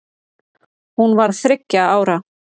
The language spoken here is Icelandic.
Hún var þriggja ára.